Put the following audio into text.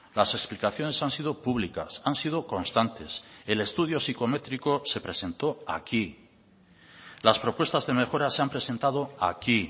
las explicaciones han sido públicas han sido constantes el estudio psicométrico se presentó aquí las propuestas de mejora se han presentado aquí